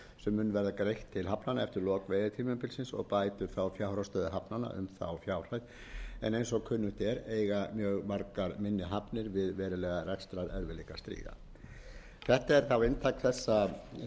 sem mun verða greitt til hafnanna eftir lok veiðitímabilsins og bætir fjárhagsstöðu hafnanna um fjárhæðina en eins og kunnugt er eiga mjög margar minni hafnir við verulega rekstrarerfiðleika að stríða þetta er inntak